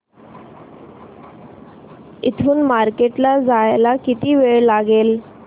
इथून मार्केट ला जायला किती वेळ लागेल